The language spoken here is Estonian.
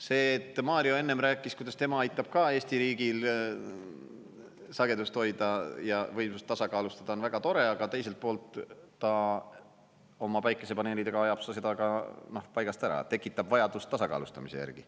See, et Mario enne rääkis, kuidas tema aitab ka Eesti riigil sagedust hoida ja võimsust tasakaalustada, on väga tore, aga teiselt poolt ta oma päikesepaneelidega ajab seda ka paigast ära, tekitab vajadust tasakaalustamise järgi.